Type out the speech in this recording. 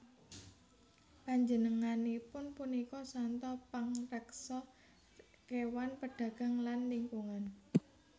Panjenenganipun punika santo pangreksa kéwan pedagang lan lingkungan